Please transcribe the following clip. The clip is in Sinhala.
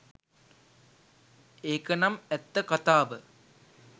ඒකනම් ඇත්ත කතාව